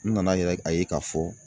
N nana yɛrɛ a ye k'a fɔ